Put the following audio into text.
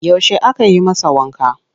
Yaushe aka yi masa wanka?